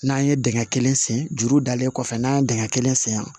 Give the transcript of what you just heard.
N'an ye dingɛ kelen sen duuru dalen kɔfɛ n'an ye dingɛ kelen sen yan